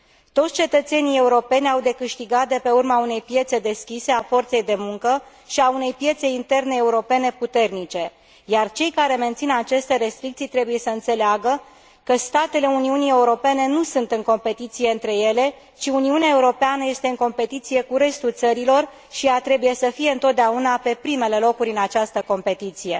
Toți cetățenii europeni au de câștigat de pe urma unei piețe deschise a forței de muncă și a unei piețe interne europene puternice, iar cei care mențin aceste restricții trebuie să înțeleagă că statele Uniunii Europene nu sunt în competiție între ele, ci Uniunea Europeană este în competiție cu restul țărilor și ea trebuie să fie întotdeauna pe primele locuri în această competiție.